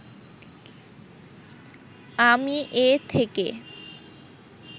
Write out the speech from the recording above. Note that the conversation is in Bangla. আমি এ থেকে